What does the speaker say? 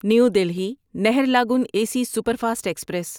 new Delhi Naharlagun A C superfast express